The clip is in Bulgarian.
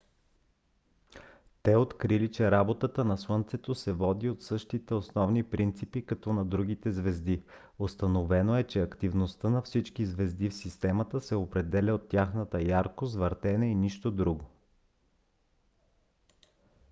те открили че работата на слънцето се води от същите основни принципи като на другите звезди: установено е че активността на всички звезди в системата се определя от тяхната яркост въртене и нищо друго